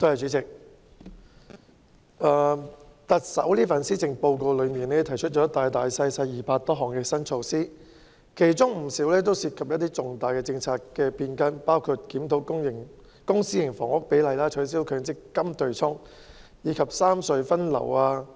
主席，特首在這份施政報告提出了200多項新措施，其中不少涉及一些重大的政策變更，包括檢討公私營房屋比例、取消強積金對沖安排及三隧分流等。